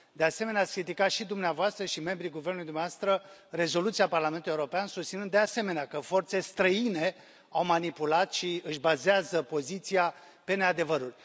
De asemenea, ați criticat și dumneavoastră, și membrii guvernului dumneavoastră rezoluția Parlamentului European, susținând, de asemenea, că forțe străine l au manipulat și își bazează poziția pe neadevăruri.